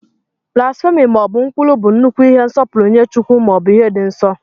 Blasphemí maọbu nkwulu bụ nnukwu ihe nsọpụrụ nye chukwu, maọbu ihe dị nso.